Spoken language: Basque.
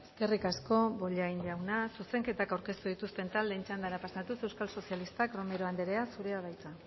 eskerrik asko bollain jauna zuzenketak aurkeztu dituzten taldeen txandara pasatuz euskal sozialistak romero anderea zurea da hitza